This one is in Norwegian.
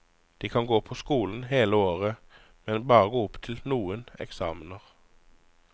De kan gå på skolen hele året, men bare gå opp til noen eksamener.